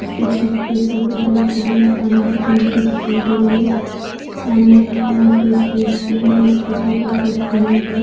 उसके छत के ऊपर कुछ लोग खड़े है एक पानी की टंकी दिखाई दे रही है सामने एक बड़ा-सा स्टेज बना है जिसके ऊपर कुछ लोग खड़े है। --